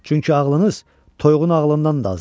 Çünki ağlınız toyuğun ağlından da azdır.